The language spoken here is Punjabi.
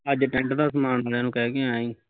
ਅੱਜ tent ਦਾ ਸਮਾਨ ਅਲਿਆ ਨੂੰ ਕਹ ਕੇ ਆਇਆ ਸੀ